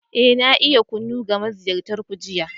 Eh, na yi kunu ga maziyartan ku jiya.